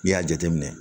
N'i y'a jateminɛ